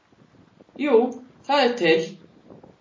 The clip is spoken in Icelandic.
Jú, það er til.